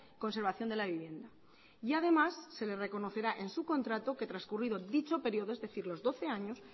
conservación de la vivienda y además se le reconocerá en su contrato que trascurrido dicho periodo es decir los doce años